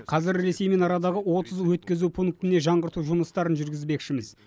қазір ресеймен арадағы отыз өткізу пунктіне жаңғырту жұмыстарын жүргізбекшіміз